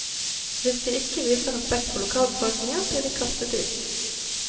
Hvis de ikke viser respekt for lokalbefolkningen, blir de kastet ut.